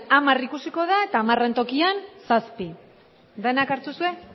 hamar ikusiko da eta hamarren tokian zazpi danak hartu duzue